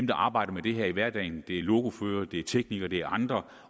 der arbejder med det her i hverdagen det er lokoførere det er teknikere det er andre